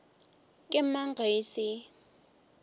ke mang ge e se